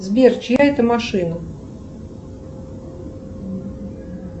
сбер чья это машина